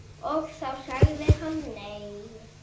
Og þá sagði hann nei.